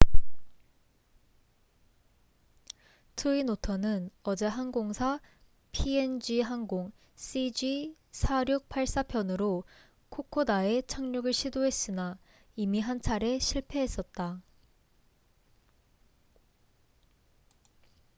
트윈오터twin otter는 어제 항공사 png 항공 cg4684편으로 코코다에 착륙을 시도했으나 이미 한차례 실패했었다